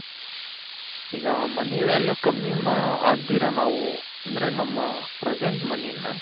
ಈಗ money value ಕಮ್ಮಿ ಆಗದಿರ ನಾವು ಅಂದ್ರೆ ನಮ್ಮ present moneyನ.